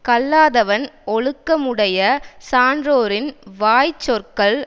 கல்லாதவன் ஒழுக்கமுடைய சான்றோரின் வாய் சொற்கள்